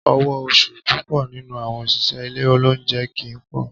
Owó oṣù púpọ̀ nínú àwọn òṣìṣẹ́ ilé olóunjẹ kì í pọ̀